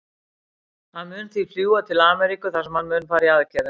Hann mun því fljúga til Ameríku þar sem hann mun fara í aðgerðina.